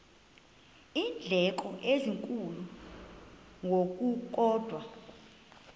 iindleko ezinkulu ngokukodwa